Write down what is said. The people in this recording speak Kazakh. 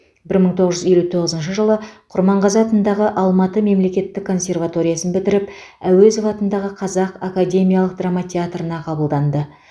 бір мың тоғыз жүз елу тоғызыншы жылы құрманғазы атындағы алматы мемлекеттік консерваториясын бітіріп әуезов атындағы қазақ академиялық драма театрына қабылданды